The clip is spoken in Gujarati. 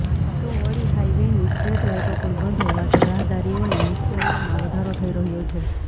તો વળી હાઈવેની સ્ટ્રેટ લાઈટો પણ બંધ હોવાથી રાહદારીઓને મુશ્કેલીઓમાં વધારો થઇ રહયો છે